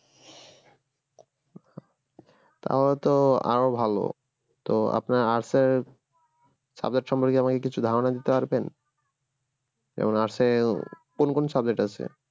তাহলে তো আরো ভালো তো আপনার arts এ subject সম্পর্কে আমাকে কিছু ধারনা দিতে পারবেন যেমন arts এ কোন কোন subject আছে